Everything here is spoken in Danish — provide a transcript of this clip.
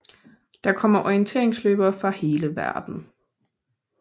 Der kommer orienteringsløbere fra hele verden